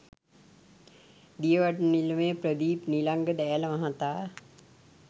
දියවඩන නිලමේ ප්‍රදීප් නිලංග දෑල මහතා